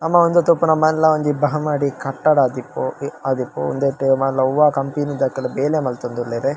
ನಮ ಉಂದು ತೂಪುನ ಮಲ್ಲ ಒಂಜಿ ಬಾಮಾಡ್ ಕಟ್ಟಡಾ ಆದಿಪ್ಪು ಆದಿಪ್ಪು ಉಂದೆಟ್ ಮಲ್ಲ ಒವಾ ಕಂಪೆನಿ ದಕುಲು ಬೇಲೆ ಮಲ್ತೊಂದುಲ್ಲೆರ್.